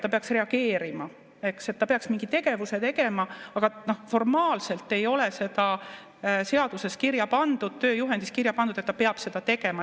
Ta peaks reageerima, ta peaks mingi tegevuse tegema, aga formaalselt ei ole seda seaduses kirja pandud, tööjuhendis kirja pandud, et ta peab seda tegema.